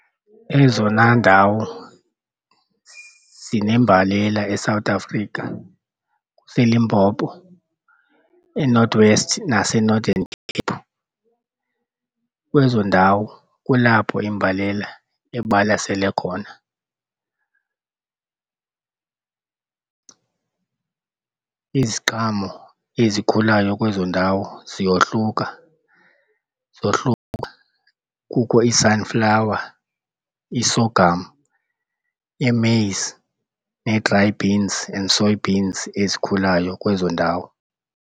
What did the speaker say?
Ezona ndawo zinembalela eSouth Africa, ziiLimpopo, iNorth West naseNothern Cape. Kwezo ndawo kulapho imbalela ibalasele khona. Iziqhamo ezikhulayo kwezo ndawo ziyohluka kukho ii-sunflower, ii-sorghum, ii-maize ne-dry beans and soybeans ezikhulayo kwezo ndawo.